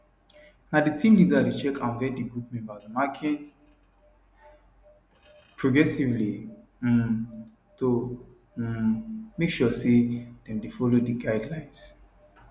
na di team leader dey check and vet di group members marking progressively um to um make sure say dem dey follow di guidelines